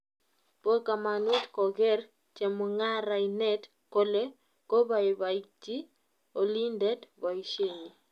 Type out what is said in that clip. Bo kamanut kogeer chemungarainet kole koboiboichi olindet boisienyi